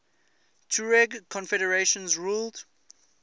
tuareg confederations ruled